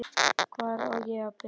Hvar á ég að byrja?